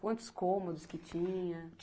Quantos cômodos que tinha?